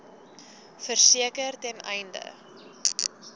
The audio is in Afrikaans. verseker ten einde